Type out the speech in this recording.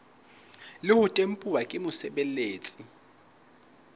le ho tempuwa ke mosebeletsi